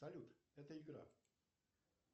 салют это игра